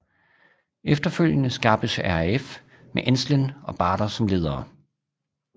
Efterfølgende skabtes RAF med Ensslin og Baader som ledere